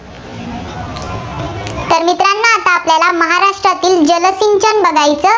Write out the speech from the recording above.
तर बघायचं